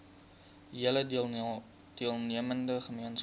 hele deelnemende gemeenskap